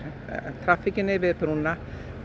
traffíkin yfir brúna